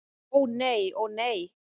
Ó nei, ó nei!